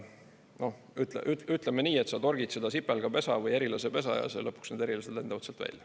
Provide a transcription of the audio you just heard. Noh, ütleme nii, et sa torgid seda sipelgapesa või herilasepesa ja lõpuks need herilased lendavad sealt välja.